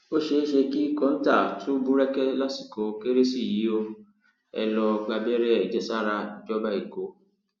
ó ṣeé ṣe kí kọńtà tún búrẹkẹ lásìkò kérésì yìí o ẹ lọọ gbàbẹrẹ àjẹsára ìjọba ẹkọ